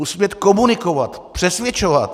Musí umět komunikovat, přesvědčovat.